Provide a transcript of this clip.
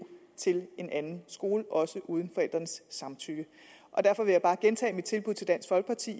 til en anden skole også uden forældrenes samtykke derfor vil jeg bare gentage mit tilbud til dansk folkeparti